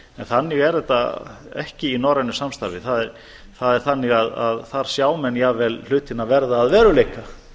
þannig er þetta ekki í norrænu samstarfi það er þannig að þar sjá menn jafnvel hlutina verða að veruleika